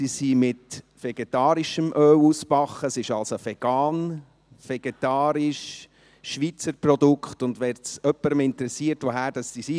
Sie wurden in vegetarischem Öl ausgebacken, sie sind also vegan, vegetarisch, ein Schweizer Produkt, und wenn es jemanden interessiert, woher sie sind: